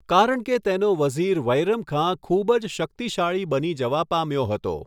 કારણ કે તેનો વઝીર વૈરમખાં ખુબ જ શકિતશાળી બની જવા પામ્યો હતો.